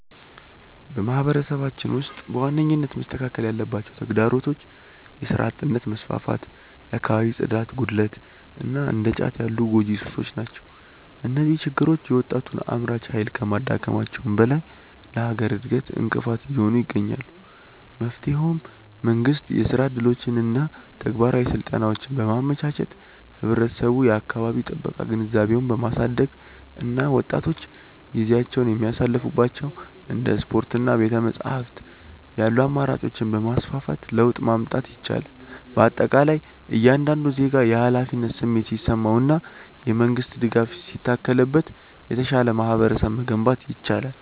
በማህበረሰባችን ውስጥ በዋነኝነት መስተካከል ያለባቸው ተግዳሮቶች የሥራ አጥነት መስፋፋት፣ የአካባቢ ጽዳት ጉድለት እና እንደ ጫት ያሉ ጎጂ ሱሶች ናቸው። እነዚህ ችግሮች የወጣቱን አምራች ኃይል ከማዳከማቸውም በላይ ለሀገር እድገት እንቅፋት እየሆኑ ይገኛሉ። መፍትሄውም መንግስት የሥራ ዕድሎችንና ተግባራዊ ስልጠናዎችን በማመቻቸት፣ ህብረተሰቡ የአካባቢ ጥበቃ ግንዛቤውን በማሳደግ እና ወጣቶች ጊዜያቸውን የሚያሳልፉባቸው እንደ ስፖርትና ቤተ-መጻሕፍት ያሉ አማራጮችን በማስፋፋት ለውጥ ማምጣት ይቻላል። በአጠቃላይ እያንዳንዱ ዜጋ የኃላፊነት ስሜት ሲሰማውና የመንግስት ድጋፍ ሲታከልበት የተሻለ ማህበረሰብ መገንባት ይቻላል።